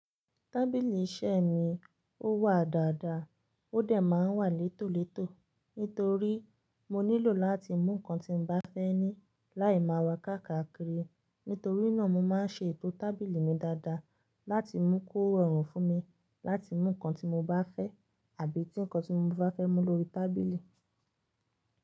Tábìlì iṣẹ́ mi ó wà dáadáa, ó dẹ̀ máa n wà létòletò. Nítorí mo nílò láti mú nǹkan tí mo bá fẹ́ ní láì máa wà káàkiri, nítorí náà mo máa n ṣe ètò tábìlì mi dáadáa láti mú kó rọrùn fún mi láti mú nǹkan tí mo bá fẹ́ àbí tí nǹkan tí mo bá fẹ́ mú lórí tábìlì.